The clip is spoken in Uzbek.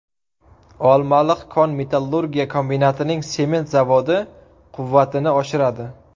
Olmaliq kon-metallurgiya kombinatining sement zavodi quvvatini oshiradi.